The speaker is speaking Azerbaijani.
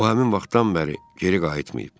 O həmin vaxtdan bəri geri qayıtmayıb.